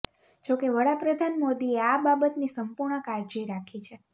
જોકે વડાપ્રધાન મોદીએ આ બાબતની સંપૂર્ણ કાળજી રાખી છે